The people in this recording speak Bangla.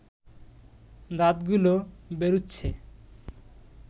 দাঁতগুলো বেরুচ্ছে